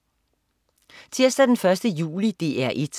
Tirsdag den 1. juli - DR 1: